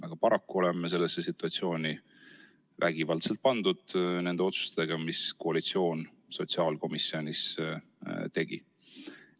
Aga paraku oleme sellesse situatsiooni vägivaldselt pandud nende otsustega, mis koalitsioon sotsiaalkomisjonis tegi.